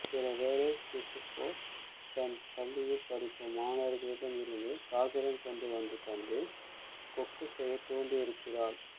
சிலவேளை சிசுகோ தன் பள்ளியில் படிக்கும் மாணவர்களிடமிருந்து காகிதம் கொண்டு வந்து தந்து கொக்கு செய்யத் தூண்டியிருக்கிறாள்